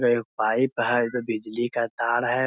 एगो पाइप है जो बिजली का तार है।